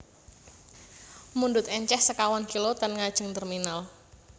Mundhut enceh sekawan kilo ten ngajeng terminal